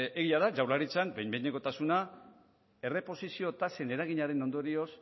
egia da jaurlaritzan behin behinekotasuna erreposizio tasen eraginaren ondorioz